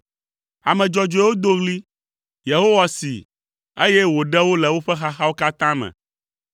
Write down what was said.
Ame dzɔdzɔewo do ɣli, Yehowa see, eye wòɖe wo le woƒe xaxawo katã me.